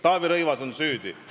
Kas Taavi Rõivas on süüdi?